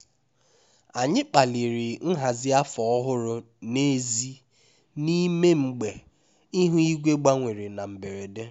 anyị kpaliri nhazi afọ ọhụrụ n'èzí n'ime mgbe ihu igwe gbanwere na mberede